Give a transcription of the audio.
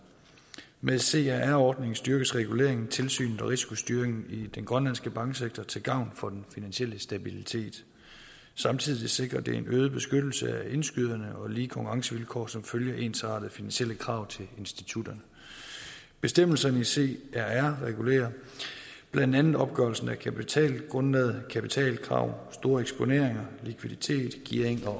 med crr ordningen styrkes reguleringen tilsynet og risikostyringen i den grønlandske banksektor til gavn for den finansielle stabilitet samtidig sikrer det en øget beskyttelse af indskyderne og lige konkurrencevilkår som følge af ensartede finansielle krav til institutterne bestemmelserne i crr regulerer blandt andet opgørelsen af kapitalgrundlaget kapitalkrav store eksponeringer likviditet gearing og